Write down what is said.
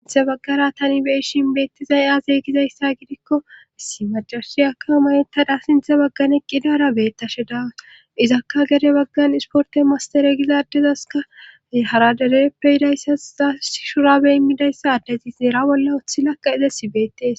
sinthe baggara tani be7eshin beettizay aazey gizayssa gidikko issi macashiyaka mayettadha sinthe baggan eqqidaara beettashe dawa izakka gede baggan isporte mastare gizaaddezaska hara dedeeppe hidayssa asi shurabe immidayssa adezi neera bolla uththi lakka izesi beettees